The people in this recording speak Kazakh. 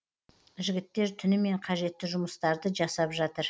жігіттер түнімен қажетті жұмыстарды жасап жатыр